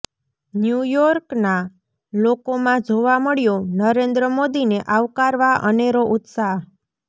ન્યુયોર્કના લોકોમાં જોવા મળ્યો નરેન્દ્ર મોદીને આવકારવા અનેરો ઉત્સાહ